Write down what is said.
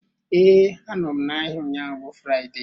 Ee, anọ m n'ahịa ụnyaahụ bụ Fraịde